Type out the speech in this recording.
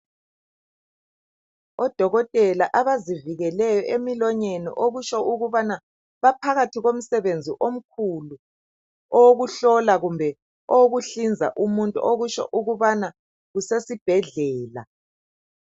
Odokotela azivikeleyo emilonyeni okutsho ukubana baphakathi komsebenzi omkhulu owokuhlola kumbe owokuhlinza umuntu okutsho ukubana kusesibhedlela